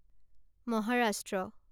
Maharashtra